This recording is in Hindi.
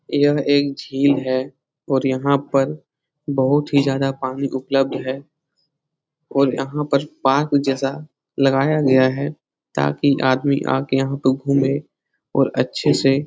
यह एक झील है और यहाँ पर बहुत ही ज्यादा पानी उपलब्ध है और यहाँ पर पार्क जैसा लगाया गया है ताकि आदमी आके यहाँ पे घूमे और अच्छे से --